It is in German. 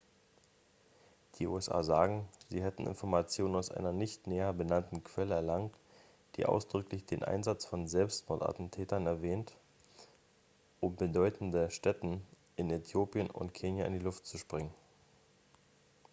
"die usa sagen sie hätten informationen aus einer nicht näher benannten quelle erlangt die ausdrücklich den einsatz von selbstmordattentätern erwähnt um "bedeutende stätten" in äthiopien und kenia in die luft zu sprengen.